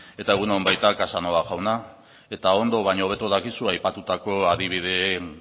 eta egun baita casanova jauna eta ondo baino hobeto dakizu aipatutako adibideen